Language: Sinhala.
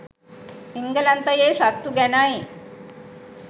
එංගලන්තයේ සත්තු ගැනයි